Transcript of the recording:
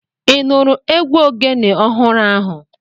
Ị nụrụ egwu Ogene ọhụrụ ahu?